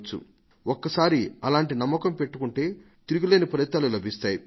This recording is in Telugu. ఒక్కసారి అలాంటి నమ్మకం పెట్టుకుంటే తిరుగులేని ఫలితాలు లభిస్తాయి